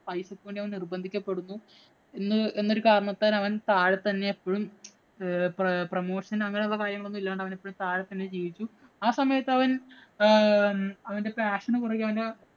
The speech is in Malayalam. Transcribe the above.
പൈസക്ക് വേണ്ടി അവന്‍ നിര്‍ബന്ധിക്കപ്പെടുന്നു. എന്നൊരു കാരണത്താല്‍ അവന്‍ താഴെ തന്നെ എപ്പോഴും promotion ഉം അങ്ങനെയുള്ള കാര്യങ്ങളും ഇല്ലാണ്ട് അവന്‍ എപ്പോഴും താഴെ തന്നെ ജീവിച്ചു. ആ സമയത്ത് അവന്‍ അവന്‍റെ passion ഉ പുറകെ അവന്‍റെ